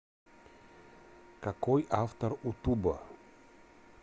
какой автор у туба